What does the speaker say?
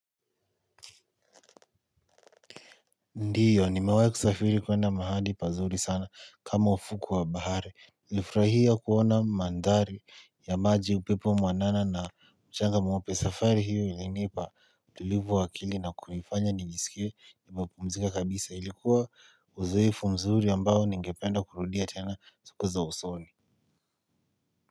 Ndio nimewahi kusafiri kwenda mahali pazuri sana kama ufukwe wa bahari nilifurahia kuona mandhari ya maji upepo mwanana na mchanga mweupe safari hiyo ilinipa utulivu wa akili na kunifanya nijisikie ni nimepumzika kabisa ilikuwa uzoefu mzuri ambao ningependa kurudia tena siku za usoni.